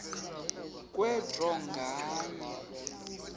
kwe draw nganye